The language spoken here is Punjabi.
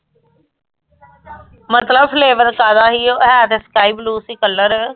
ਮਤਲਬ flavor ਕਾਦਾ ਹੀ ਓ ਹੈ ਤੇ sky blue ਸੀ color